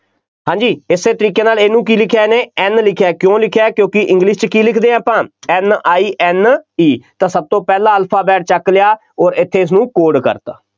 ਹਾਂਜੀ ਇਸੇ ਤਰੀਕੇ ਨਾਲ ਇਹਨੂੰ ਕੀ ਲਿਖਿਆ ਇਹਨੇ N ਲਿਖਿਆ ਕਿਉਂ ਲਿਖਿਆ ਕਿਉਂਕਿ english ਵਿੱਚ ਕੀ ਲਿਖਦੇ ਆਪਾਂ N I N E ਤਾਂ ਸਭ ਤੋਂ ਪਹਿਲਾ alphabet ਚੁੱਕ ਲਿਆ ਅੋਰ ਇੱਥੇ ਇਸਨੂੰ code ਕਰ ਦਿੱਤਾ।